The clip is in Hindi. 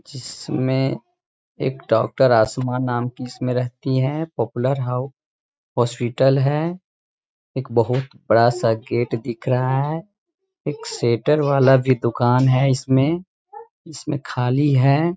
जिसमे एक डॉक्टर आयस्मा नाम की इसमें रहती है पॉपुलर होउस हॉस्पिटल है एक बहुत बड़ा सा गेट दिख रहा है एक शेटर वाला भी दुकान है इसमें इसमें खाली है।